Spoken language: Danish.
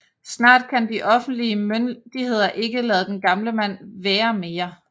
Snart kan de offentlige myndigheder ikke lade den gamle mand være mere